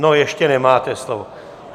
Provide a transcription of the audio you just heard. No, ještě nemáte slovo.